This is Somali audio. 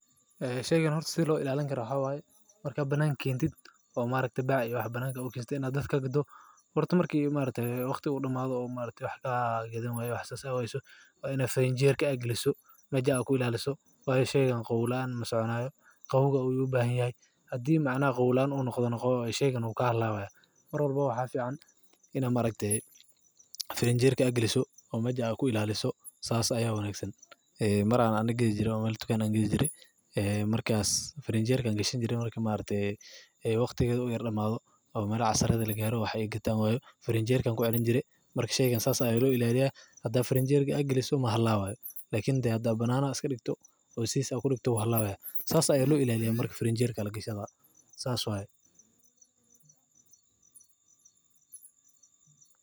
Eh sheygan hoorto si loo ilaalin karoo haaway, markaa banan keentid oo ma arakte baac iyo wax banan ka oo kinstay inaad dadka gudoo, wadato markii u maalintee waqti u dhamaado oo maalintii wax ka gidanayo wax saad ah aysu, in farin jeerka aglisoo, mesha ku ilaaliso. Waaye sheygan qowlaan masoonaayo, qowwuga uu yuu baahanyahay. Haddii macno qowlaan u noqonoqo sheygan kaa hadlaawaya. Marwalba waxaa fiican in aan ma arakte. Farin jeerka aglisoo oo mesha ku ilaaliso saas ayaa wanaagsan. Ee mar aanan geedi jirey oomeeli tukan geedi jiray. Ee markaas farin jeerkan gashin jiray markii ma arakte waqtiga u yar dhamaaday oo meelo casarada la gaaro waxay iga taango. Farin jeerkan ku celin jiray markiisheega saas ay ula ilaaliyaan. Haddii farin jeerkii ag liliso ma xallaaway, laakin hadda banana iska dhigto oo siis ku dhigto waxaa xallaaway saas ala ilaaliyo markii farin jeerka lagu gasho saas way.